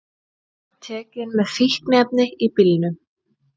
Tekin með fíkniefni í bílnum